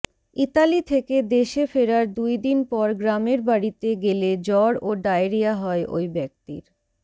Italy থেকে দেশে ফেরার দুইদিন পর গ্রামের বাড়িতে গেলে জ্বর ও ডায়রিয়া হয় ওই ব্যক্তির